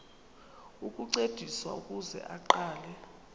ukuncediswa ukuze aqale